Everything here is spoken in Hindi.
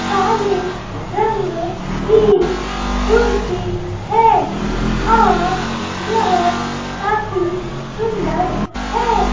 काली रंग की कुर्सी हैं और काफी सुंदर है।